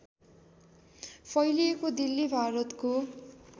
फैलिएको दिल्ली भारतको